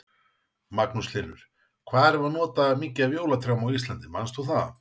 Magnús Hlynur: Hvað erum við að nota mikið af jólatrjám á Íslandi, manst þú það?